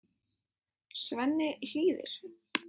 Svenni hlýðir.